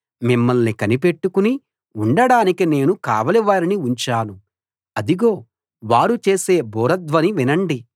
మిమ్మల్ని కనిపెట్టుకుని ఉండడానికి నేను కావలి వారిని ఉంచాను అదిగో వారు చేసే బూరధ్వని వినండి